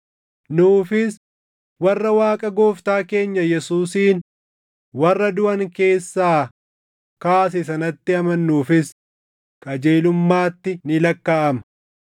nuufis, warra Waaqa Gooftaa keenya Yesuusin warra duʼan keessaa kaase sanatti amannuufis, qajeelummaatti ni lakkaaʼama.